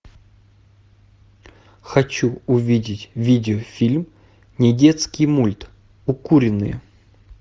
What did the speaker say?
хочу увидеть видеофильм недетский мульт укуренные